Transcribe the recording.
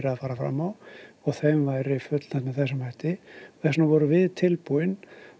að fara fram á og þeim væri fullnægt með þessum hætti þess vegna vorum við tilbúin